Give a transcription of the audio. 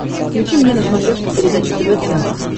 включи мне на смотрешке передачу тв центр